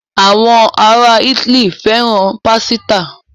Àwọn ará Ítálì fẹ́ràn pásítà.